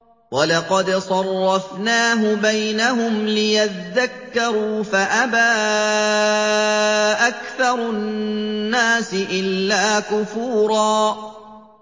وَلَقَدْ صَرَّفْنَاهُ بَيْنَهُمْ لِيَذَّكَّرُوا فَأَبَىٰ أَكْثَرُ النَّاسِ إِلَّا كُفُورًا